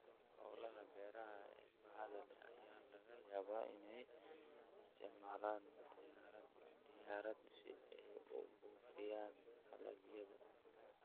Hawlaha beeraha ee baaxadda leh ayaa laga yaabaa inay isticmaalaan diyaarad si ay u buufiyaan dalagyada.